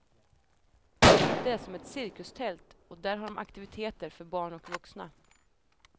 Det är som ett cirkustält och där har de aktiviteter för barn och vuxna.